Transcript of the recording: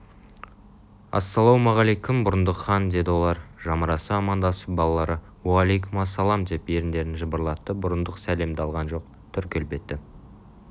ассалаумағаликом бұрындық хан деді олар жамыраса амандасып балалары аликомассаламдеп еріндерін жыбырлатты бұрындық сәлемді алған жоқ түр-келбеті